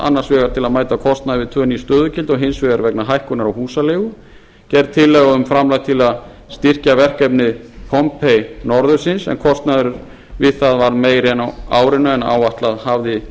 annars vegar til að mæta kostnaði við tvö ný stöðugildi og hins vegar vegna hækkunar á húsaleigu gerð tillaga um framlag til að styrkja verkefni pompei norðursins en kostnaður við það varð meiri á árinu en áætlað hafði